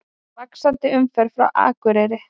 Vaxandi umferð frá Akureyri